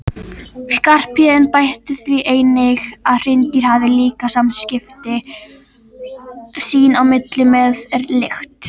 Skarphéðinn bætti því einnig við að hreindýr hafi líka samskipti sín á milli með lykt.